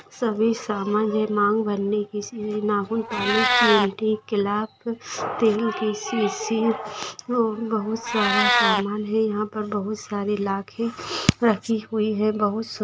सभी सामान है मांग भरने की नाखून पार्ले चिमटी क्लप तेल की सीसी और बहुत सारा सामान है यहां पर बहुत सारे लाके रखी हुई है बहुत सु --